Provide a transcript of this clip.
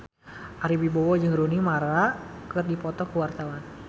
Ari Wibowo jeung Rooney Mara keur dipoto ku wartawan